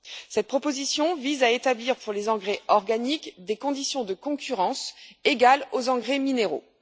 Cette proposition vise à établir pour les engrais organiques des conditions de concurrence égales aux engrais minéraux.